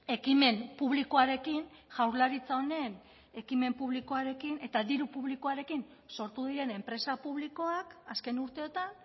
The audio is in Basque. ekimen publikoarekin jaurlaritza honen ekimen publikoarekin eta diru publikoarekin sortu diren enpresa publikoak azken urteotan